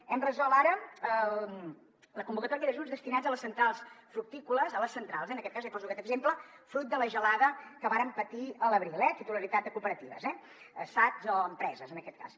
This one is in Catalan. hem resolt ara la convocatòria d’ajuts destinats a les centrals fructícoles a les centrals eh en aquest cas li poso aquest exemple fruit de la gelada que varen patir a l’abril titularitat de cooperatives sats o empreses en aquest cas